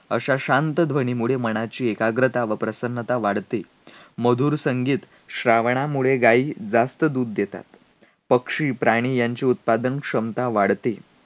अशा शांत ध्वनीमुळे मनाची एकाग्रता व प्रसन्नता वाढते. मधुर संगीत, श्रावनामुळे गाई जास्त दूध देतात. पक्षी, प्राणी यांची उत्पादनक्षमता वाढते.